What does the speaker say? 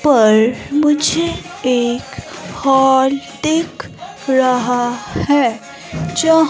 पर मुझे एक हॉल दिख रहा है जहां--